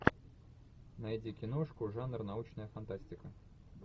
найди киношку жанр научная фантастика